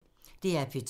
DR P2